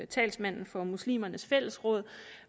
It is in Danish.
talsmanden for muslimernes fællesråd